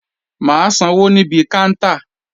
Mà á sanwó níbi káńtà